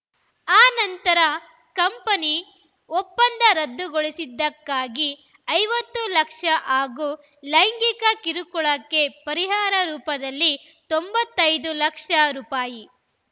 ಆನಂತರ ಕಂಪನಿ ಒಪ್ಪಂದ ರದ್ದುಗೊಳಿಸಿದ್ದಕ್ಕಾಗಿ ಐವತ್ತು ಲಕ್ಷ ಹಾಗೂ ಲೈಂಗಿಕ ಕಿರುಕುಳಕ್ಕೆ ಪರಿಹಾರ ರೂಪದಲ್ಲಿ ತೊಂಬತ್ತ್ ಐದು ಲಕ್ಷ ರುಪಾಯಿ